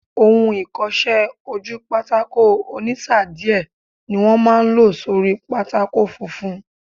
Ohun ìkọsẹ́-ojúpátákó ònísáà díẹ̀ ní wọ́n máa n lò sórí pátákó funfun